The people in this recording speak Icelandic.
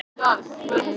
Það er ágæt þátttaka